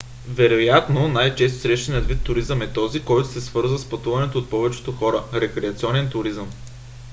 вероятно най-често срещаният вид туризъм е този който се свързва с пътуване от повечето хора: рекреационен туризъм